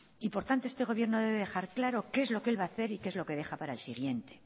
y por tanto este gobierno debe dejar claro qué es lo que él va hacer y qué es lo que deja para el siguiente